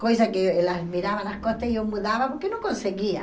Coisa que elas viravam as costas e eu mudava porque não conseguia.